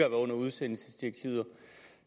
under udsendelsesdirektivet